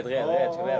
Red, red, red, şabab!